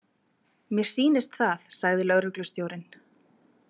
Mér sýnist það, sagði lögreglustjórinn.